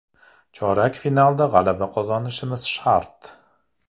Chorak finalda g‘alaba qozonishimiz shart.